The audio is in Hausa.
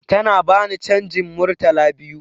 Tana bani canjin Murtala biyu